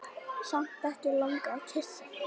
Samt ekki langað að kyssa.